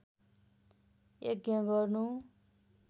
यज्ञ गर्नु